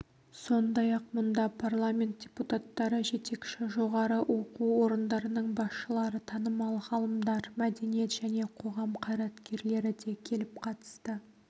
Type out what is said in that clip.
сондай-ақ мұнда парламент депутаттары жетекші жоғары оқу орындарының басшылары танымал ғалымдар мәдениет және қоғам қайраткерлері де келіп қатысты